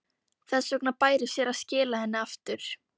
Þess vegna bæri sér að skila henni aftur.